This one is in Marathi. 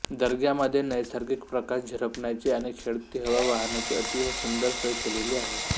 दर्ग्यामध्ये नैसर्गिक प्रकाश झिरपण्याची आणि खेळती हवा वाहण्याची अतिशय सुंदर सोय केलेली आहे